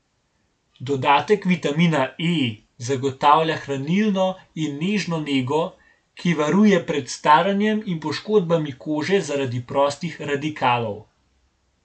Dodatek vitamina E zagotavlja hranilno in nežno nego, ki varuje pred staranjem in poškodbami kože zaradi prostih radikalov.